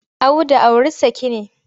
Audu auri saki ne.